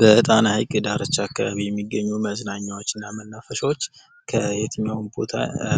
በጣና ሃይቅ ዳርቻ አካባቢ የሚገኙ መዝናኛዎችና መናፈሻዎች ከየትኛውም ቦታ